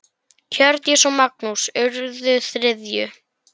Hjördís og Magnús urðu þriðju.